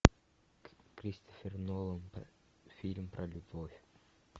кристофер нолан фильм про любовь